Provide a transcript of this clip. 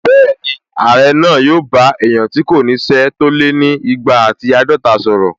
Bẹ́ẹ̀ni, Ààrẹ náà yóò bá èèyàn tí kò ní ṣẹ́ tó lé ni igba àti àádọta sọ̀rọ̀